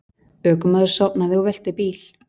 Ökumaður sofnaði og velti bíl